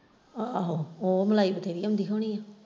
ਆਹੋ ਉਹ ਮਲਾਈ .